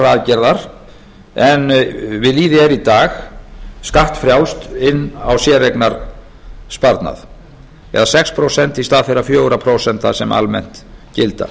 aðgerðar en við lýði er í dag skattfrjálst inn á séreignarsparnað eða sex prósent í stað þeirra fjögur prósent sem almennt gilda